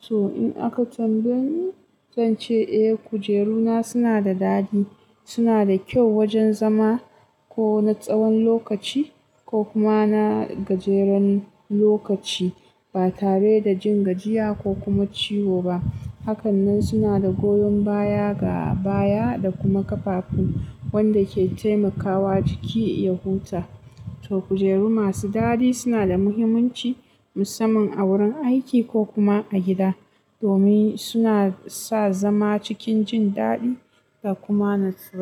To in aka tambaye ni, zan ce eh kujeruna suna da daɗi, suna da kyau wajen zama ko na tsawon lokaci ko kuma na gajeren lokaci ba tare da jin gajiya ko kuma ciwo ba. Hakanan suna da goyon baya ga baya da kuma ƙafafu wanda ke taimakawa jiki ya huta. To kujeru masu daɗi suna da muhimmanci musamman a wurin aiki ko kuma a gida domin suna sa zama cikin jin daɗi da kuma natsuwa.